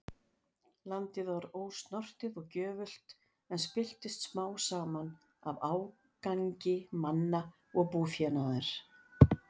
Landið var ósnortið og gjöfult, en spilltist smám saman af ágangi manna og búfénaðar.